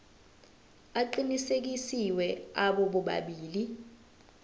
aqinisekisiwe abo bobabili